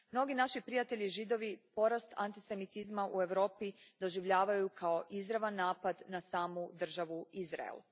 Mnogi naši prijatelji Židovi porast antisemitizma u Europi doživljavaju kao izravan napad na samu državu Izrael.